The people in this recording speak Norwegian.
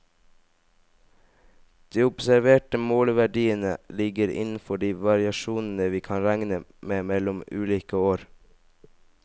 De observerte måleverdiene ligger innenfor de variasjonene vi kan regne med mellom ulike år.